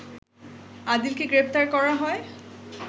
আদিলকে গ্রেপ্তার করা হয়